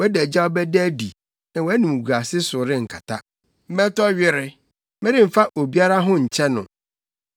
Wʼadagyaw bɛda adi na wʼanimguase so renkata. Mɛtɔ were; meremfa obiara ho nkyɛ no.”